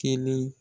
Kelen